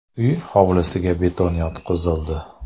Uy hovlisiga beton yotqizildi.